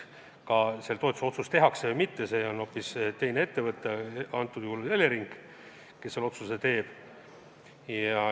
Kas see toetuse otsus tehakse või mitte – see on hoopis teine ettevõte, antud juhul Elering, kes selle otsuse teeb.